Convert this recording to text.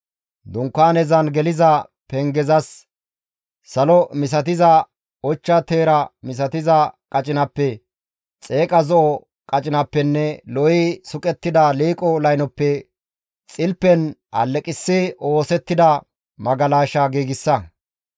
«Dunkaanezan geliza pengezas salo misatiza qacinappe, ochcha teera misatiza qacinappe, xeeqa zo7o qacinappenne lo7i suqettida liiqo laynoppe xilpen alleqissi oosettida magalasha giigsa.